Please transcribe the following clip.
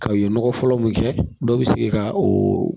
Ka u ye nɔgɔ fɔlɔ mun kɛ dɔ bi se ka o